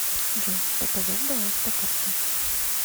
джой показать баланс по карте